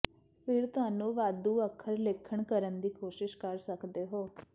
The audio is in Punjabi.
ਫਿਰ ਤੁਹਾਨੂੰ ਵਾਧੂ ਅੱਖਰ ਲੇਖਣ ਕਰਨ ਦੀ ਕੋਸ਼ਿਸ਼ ਕਰ ਸਕਦੇ ਹੋ